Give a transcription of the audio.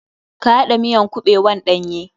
Ka haɗa miyan kuɓewan ɗanye.